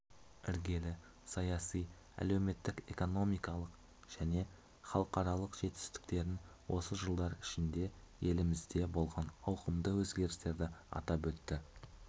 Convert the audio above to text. іргелі саяси әлеуметтік-экономикалық және халықаралық жетістіктерін осы жылдар ішінде елімізде болған ауқымды өзгерстерді атап өтті